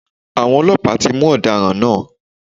Àwọn Ọlọ́pàá tí mú Ọ̀daràn náà